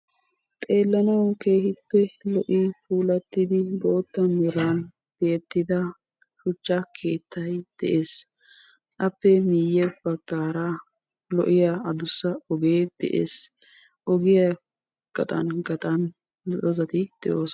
Xeelanawu keehippe lo'iya puulattidda bootta meran tiyettidda bootta shuchchay de'ees. OGIya gaxan hara doozzattikka de'osonna.